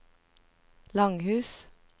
Langhus